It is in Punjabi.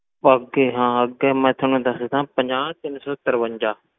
ਅੱਗੇ ਹਾਂ ਅੱਗੇ ਮੈਂ ਤੁਹਾਨੂੰ ਦੱਸਦਾਂ ਪੰਜਾਹ ਤਿੰਨ ਸੌ ਤਰਵੰਜਾ।